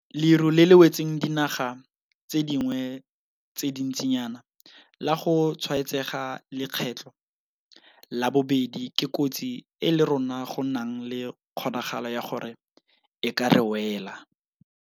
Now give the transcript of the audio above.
Leru le le wetseng dinaga tse dingwe tse dintsinyana la go tshwaetsega lekgetlo la bobedi ke kotsi e le rona go nang le kgonagalo ya gore e ka re wela.